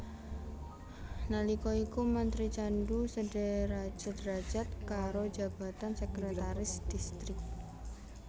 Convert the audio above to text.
Nalika iku mantri candu sederajat karo jabatan Sekretaris Distrik